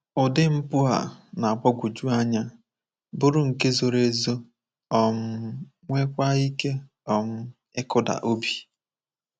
Ụdị mpụ a na-agbagwoju anya, bụrụ nke zoro ezo, um nweekwa ike um ịkụda obi.